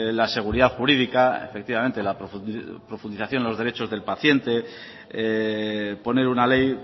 la seguridad jurídica efectivamente la profundización de los derechos del paciente poner una ley